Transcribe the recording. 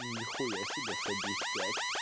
ни хуя себе садись пять